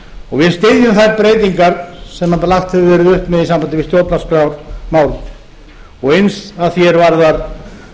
og við styðjum þær breytingar sem lagt hefur verið upp með í sambandi við stjórnarskrármálið og eins að því er varðar